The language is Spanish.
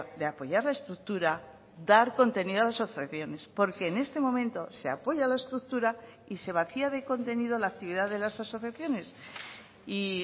de apoyar la estructura dar contenido a las asociaciones porque en este momento se apoya a la estructura y se vacía de contenido la actividad de las asociaciones y